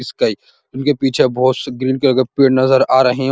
Sky उनके पीछे बोहोत से ग्रीन कलर के पेड़ नज़र आ रहे हैं।